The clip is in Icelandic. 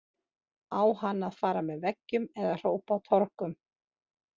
Á hann að fara með veggjum eða hrópa á torgum?